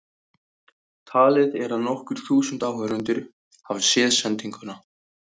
Talið er að nokkur þúsund áhorfendur hafi séð sendinguna.